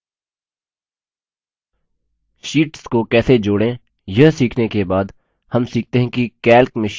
sheets को कैसे जोड़ें यह सीखने के बाद हम सीखते है कि calc में शीट्स कैसे डिलीट करें